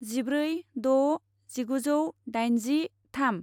जिब्रै द' जिगुजौ दाइनजि थाम